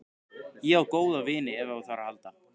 Ég á góða vini ef á þarf að halda.